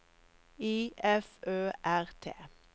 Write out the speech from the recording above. I F Ø R T